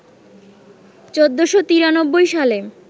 ১৪৯৩ সালে